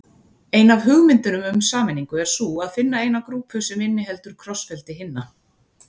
Ein af hugmyndunum um sameiningu er sú að finna eina grúpu sem inniheldur krossfeldi hinna.